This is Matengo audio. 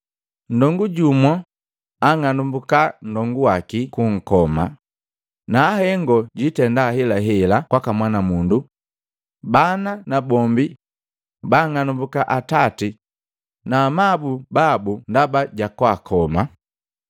Nndongu jumu anng'anumbuka nndongu waki bunkoma, na hengo jitenda ahelahela kwaka mwanamundu, bana nabombi baang'anumbuka atati na amabu babu ndaba jakwaakoma.